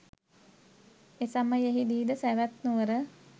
එසමයෙහි දී සැවැත් නුවර